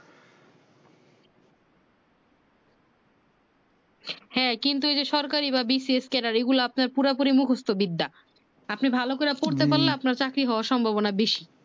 হ্যাঁ কিন্তু ঐযে সরকারি বা BCS katagiori গুলাগুলি আপনার পুরোপুরি মুখস্ত বিদ্যা আপনি ভালো করে পড়তে পারলে আপনার চাকরি হওয়ার সম্ভবনা বাসি